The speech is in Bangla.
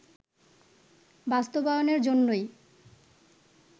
বাস্তবায়নের জন্যই